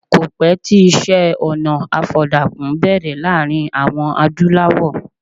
Kò pẹ́ tí iṣẹ́-ọnà àfọ̀dàkùn bẹ̀rẹ̀ láàrin àwọn Adúlawọ̀.